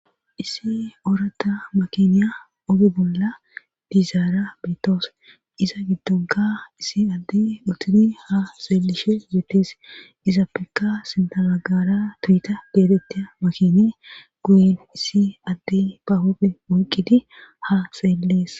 Issi orata makiniya ogi bolla bizaara biittoos iza giddonka issi adde utuni ha xeelishe yetees iza pikka sintamagara tuyita deetetti makini guyin issi adde bahofe oyqqidi ha seellees.